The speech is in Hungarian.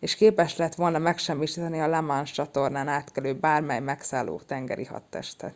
és képes lett volna megsemmisíteni a la manche-csatornán átkelő bármely megszálló tengeri hadtestet